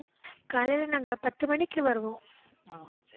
காலையில நாங்க பத்து மணிக்கு வருவோம்.